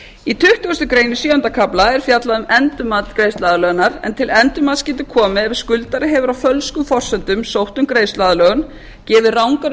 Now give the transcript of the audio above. í tuttugustu greinar í sjöunda kafla er fjallað um endurmat greiðsluaðlögunar en til endurmats skyldi koma ef skuldari hefur á fölskum forsendum sótt um greiðsluaðlögun gefið rangar